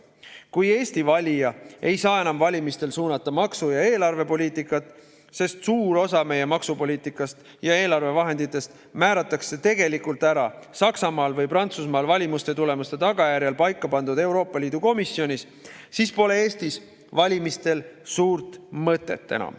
Kui Eesti valija ei saa enam valimistel suunata maksu‑ ja eelarvepoliitikat, sest suur osa meie maksupoliitikast ja eelarvevahenditest määratakse tegelikult ära Saksamaal või Prantsusmaal valimiste tulemuste tagajärjel paika pandud Euroopa Liidu komisjonis, siis pole Eestis valimistel enam suurt mõtet.